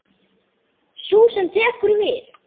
Sú sem tekur við.